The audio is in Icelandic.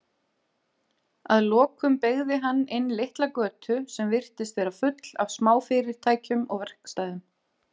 Að lokum beygði hann inn litla götu sem virtist vera full af smáfyrirtækjum og verkstæðum.